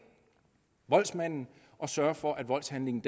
voldsmanden og sørge for at voldshandlingen